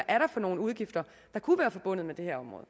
er for nogle udgifter der kunne være forbundet med det her område